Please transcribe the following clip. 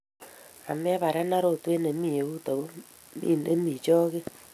Ameparenan rotwet nemi eut ago mi nemi choge.